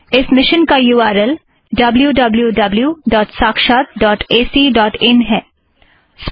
इस मिशन का U R L W W W dot Sakshat dot A C dot in wwwsakshatacइन है